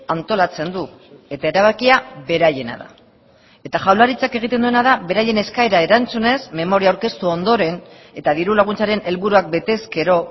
antolatzen du eta erabakia beraiena da eta jaurlaritzak egiten duena da beraien eskaera erantzunez memoria aurkeztu ondoren eta diru laguntzaren helburuak bete ezkero